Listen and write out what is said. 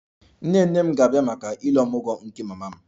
Nne nne m ga-abịa maka 'Ile omugwo' maka mama m